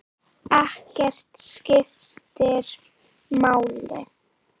Ekkert skiptir máli.